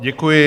Děkuji.